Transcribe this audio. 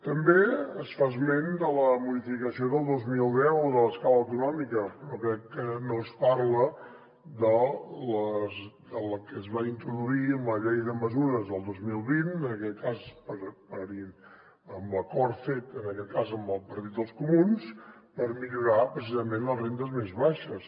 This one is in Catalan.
també es fa esment de la modificació del dos mil deu de l’escala autonòmica però crec que no es parla de la que es va introduir amb la llei de mesures del dos mil vint en aquest cas amb l’acord fet en aquest cas amb el partit dels comuns per millorar precisament les rendes més baixes